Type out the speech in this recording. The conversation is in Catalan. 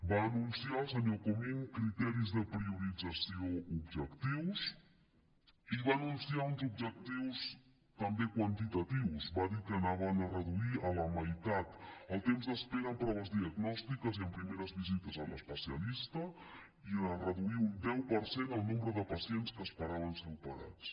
va anunciar el senyor comín criteris de priorització objectius i va anunciar uns objectius també quantitatius va dir que anaven a reduir a la meitat el temps d’espera amb proves diagnòstiques i amb primeres visites a l’especialista i de reduir un deu per cent el nombre de pacients que esperaven ser operats